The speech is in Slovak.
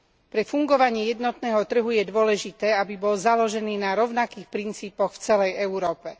Pre fungovanie jednotného trhu je dôležité, aby bol založený na rovnakých princípoch v celej Európe.